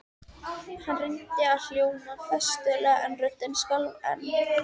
Hann reyndi að hljóma festulega en röddin skalf enn.